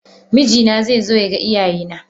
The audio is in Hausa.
Mijina zai zo ya ga iyaye na.